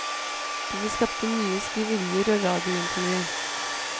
Dette skapte mye skriverier og radiointervjuer.